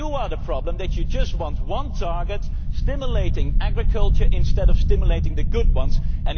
So you are the problem, in that you just want one target, stimulating agriculture instead of only stimulating the good biofuels.